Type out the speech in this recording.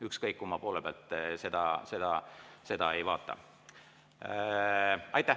Ükskõik kumma poole pealt seda ei vaata.